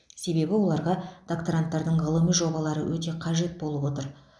себебі оларға докторанттардың ғылыми жобалары өте қажет болып отыр